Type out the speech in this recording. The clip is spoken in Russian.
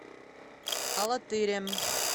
алатырем